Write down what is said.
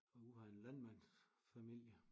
Og ud af en landmandsfamilie